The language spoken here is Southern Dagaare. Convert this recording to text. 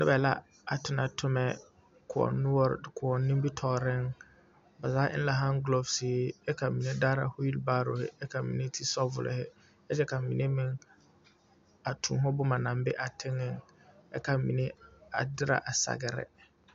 Noba la a tonɔ tomɛ koɔ noɔre koɔ nimitɔɔreŋ ba zaa eŋ la haŋgulosihi kyɛ ka mine daara weel baaro kyɛ ka mine ti sabolhi kyɛ ka mine meŋ a tuuho boma aŋ be a teŋɛŋ ka mine a derɛ a sagre.